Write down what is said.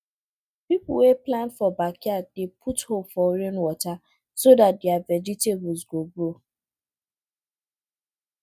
people wey plant for backyard dey put hope for rainwater so dat their vegetables go grow